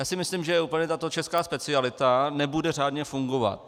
Já si myslím, že úplně tato česká specialita nebude řádně fungovat.